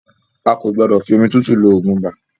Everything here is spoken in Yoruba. A kò gbọ́dọ̀ fi omi tútù lo ogún ibà